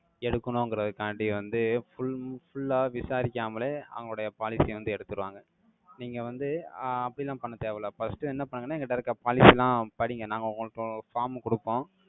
எடுக்கணுங்கறதுக்காண்டி வந்து, full full ஆ விசாரிக்காமலே, அவங்களுடைய policy ய வந்து எடுத்துருவாங்க. நீங்க வந்து, ஆஹ் அப்படியெல்லாம் பண்ண தேவையில்ல. First என்ன பண்ணுங்கன்னா, எங்கிட்ட இருக்க policy எல்லாம் படிங்க. நாங்க உங்களுக்கு form கொடுப்போம்.